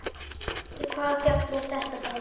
Hvaða fjall er þetta þá?